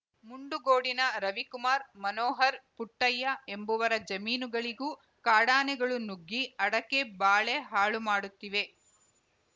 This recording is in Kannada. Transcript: ಮುಂಡುಗೋಡಿನ ರವಿಕುಮಾರ್‌ ಮನೋಹರ್‌ ಪುಟ್ಟಯ್ಯ ಎಂಬುವರ ಜಮೀನಿಗಳಿಗೂ ಕಾಡಾನೆಗಳು ನುಗ್ಗಿ ಅಡಕೆ ಬಾಳೆ ಹಾಳುಮಾಡುತ್ತಿವೆ